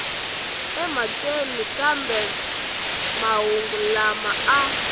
emhakeni kambe mahungu lama a